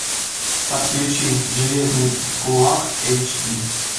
подключи железный кулак эйч ди